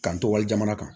K'an to wali jamana kan